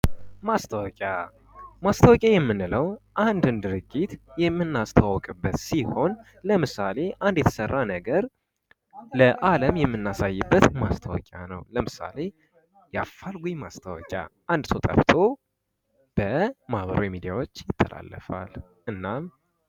ማስታወቂያ የምንለው አንድን ድርጅት የምናስተዋወቅበት ሲሆን ለምሳሌ አንድ የተሰራ ነገር ለአለም የምናሳይበት ማስታወቂያ ነው ለምሳሌ የአፋልጉኝ ማስታወቂያ አንድ ሰው ጠፍቶ በማህበራዊ ሚዲያዎች ይተላለፋል